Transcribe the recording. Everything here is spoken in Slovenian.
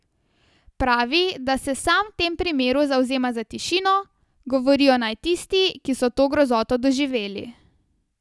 Pravi, da se sam v tem primeru zavzema za tišino, govorijo naj tisti, ki so to grozoto doživeli.